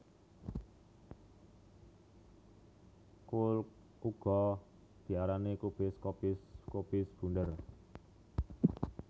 Kul uga diarani kubis kobis kobis bunder